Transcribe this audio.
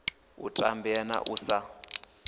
u tambea na u sa